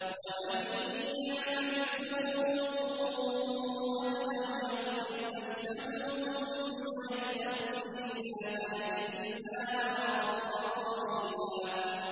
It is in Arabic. وَمَن يَعْمَلْ سُوءًا أَوْ يَظْلِمْ نَفْسَهُ ثُمَّ يَسْتَغْفِرِ اللَّهَ يَجِدِ اللَّهَ غَفُورًا رَّحِيمًا